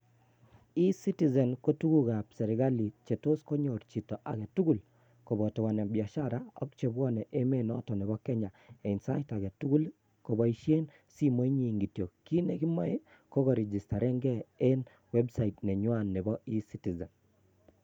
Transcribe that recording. Ecitizen koo tuguuk ab serikali Cheetos konyoor chito agetugul, koboto wanabiashara ak chemwone emet noto Nebo Kenya eng Sait agetugul koboishien simoinyin kityok kit nekiboe Ko kosiir gee chii en website nenywan Nebo ecitizen